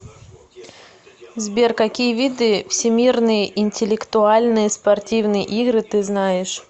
сбер какие виды всемирные интеллектуальные спортивные игры ты знаешь